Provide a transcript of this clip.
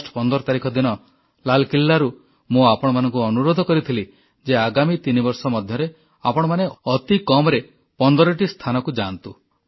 August 15 ତାରିଖ ଦିନ ଲାଲକିଲ୍ଲାରୁ ମୁଁ ଆପଣମାନଙ୍କୁ ଅନୁରୋଧ କରିଥିଲି ଯେ ଆଗାମୀ 3 ବର୍ଷ ମଧ୍ୟରେ ଆପଣମାନେ ଅତି କମରେ 15ଟି ସ୍ଥାନକୁ ଯାଆନ୍ତୁ